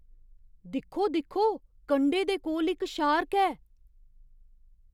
दिक्खो दिक्खो! कंढे दे कोल इक शार्क ऐ!